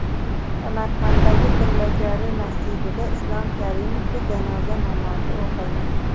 Samarqanddagi Tillakori masjidida Islom Karimovga janoza namozi o‘qildi.